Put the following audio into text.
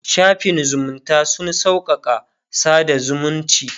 shafin zumunta sun sauƙaƙa sada zumunci